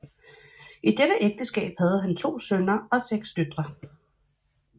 I dette ægteskab havde han to sønner og seks døtre